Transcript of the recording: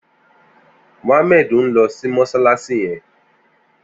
Muhammad n lò sí mọṣalaṣi yèn